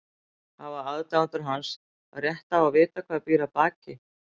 Hafa aðdáendur hans rétt á að vita hvað býr að baki?